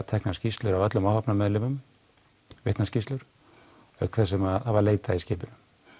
teknar skýrslur af öllum áhafnarmeðlimum vitnaskýrslur auk þess sem það var leitað í skipinu